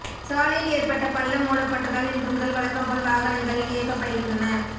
சாலையில் ஏற்பட்ட பள்ளம் மூடப்பட்டதால் இன்று முதல் வழக்கம் போல் வாகனங்கள் இயக்கப்படுகின்றன